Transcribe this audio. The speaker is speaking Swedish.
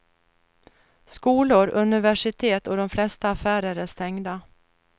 Skolor, universitet och de flesta affärer är stängda.